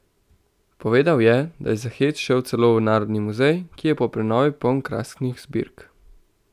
Povedal je, da je za hec šel celo v narodni muzej, ki je po prenovi poln krasnih zbirk.